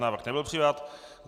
Návrh nebyl přijat.